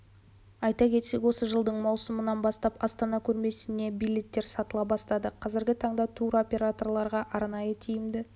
айта кетсек осы жылдың маусымынан бастап астана көрмесіне билеттер сатыла бастады қазіргі таңда туроператорларға арнайы тиімді